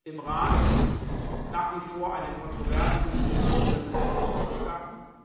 im Rat nach wie vor eine kontroverse Diskussion über gesetzliche Vorgaben.